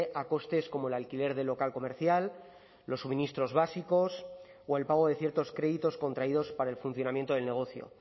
a costes como el alquiler del local comercial los suministros básicos o el pago de ciertos créditos contraídos para el funcionamiento del negocio